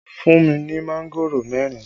Fún mi ní mángòrò mẹ́rin!